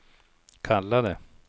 kallade